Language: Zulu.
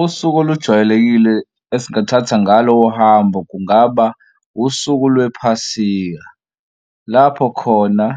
Usuku olujwayelekile esingathatha ngalo uhambo kungaba usuku lwephasika lapho khona